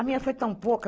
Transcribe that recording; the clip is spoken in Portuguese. A minha foi tão pouca.